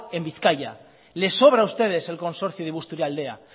en bizkaia le sobra a ustedes el consorcio de busturialdea